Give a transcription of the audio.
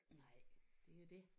Nej det er jo det